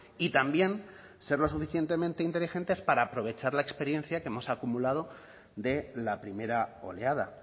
y también ser lo suficientemente inteligentes para aprovechar la experiencia que hemos acumulado de la primera oleada